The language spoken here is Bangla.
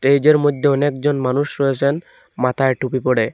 টেজের মধ্যে অনেকজন মানুষ রয়েসেন মাথায় টুপি পরে।